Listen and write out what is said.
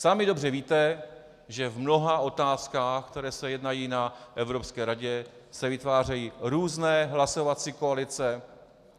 Sami dobře víte, že v mnoha otázkách, které se jednají na Evropské radě, se vytvářejí různé hlasovací koalice.